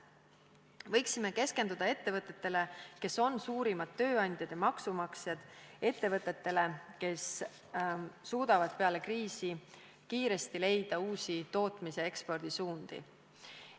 Võiksime keskenduda ettevõtetele, kes on suurimad tööandjad ja maksumaksjad, ettevõtetele, kes suudavad peale kriisi leida kiiresti uusi tootmis- ja ekspordisuundi.